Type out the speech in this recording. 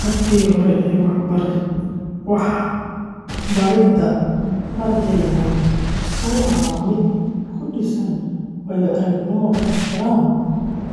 Habkii hore ee waxbaridda ardayda wuxuu ahaa mid ku dhisnaa waayo-aragnimo, ixtiraam,